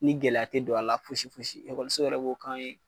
Ni gɛlɛya te don a la foyisi foyisi ekɔliso yɛrɛ b'o k'an ye